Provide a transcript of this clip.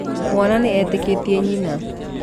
Mwana nĩ etĩkĩtie nyina